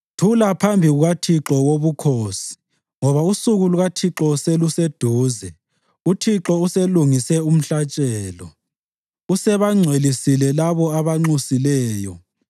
Thula phambi kukaThixo Wobukhosi, ngoba usuku lukaThixo seluseduze. UThixo uselungise umhlatshelo; usebangcwelisile labo abanxusileyo.